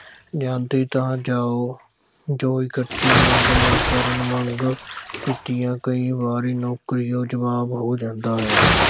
ਜਾਂਦੀ ਤਾਂ ਜਾਓ, ਜੋ ਇਕੱਠੀ ਮੰਗ ਨਾ ਕਰਨ, ਮੰਗ ਕੀਤਿਆਂ ਕਈ ਵਾਰੀ ਨੌਕਰੀਓਂ ਜਵਾਬ ਹੋ ਜਾਂਦਾ ਹੈ।